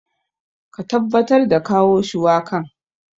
Ka tabbatar da kawo shuwakan.